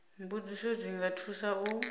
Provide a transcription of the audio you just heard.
mbudziso dzi nga thusa u